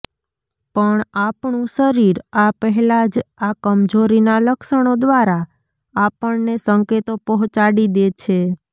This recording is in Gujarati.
પણ આપણંુ શરીર આ પહેલા જ આ કમજોરીના લક્ષણો દ્વારા આપણને સંકેતો પહોંચાડી દે છે